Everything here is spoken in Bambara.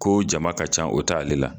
Ko jama ka ca, o t'ale la